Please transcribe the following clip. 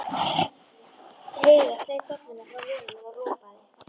Heiða sleit dolluna frá vörunum og ropaði.